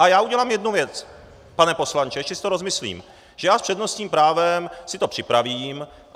A já udělám jednu věc, pane poslanče, ještě si to rozmyslím, že já s přednostním právem si to připravím.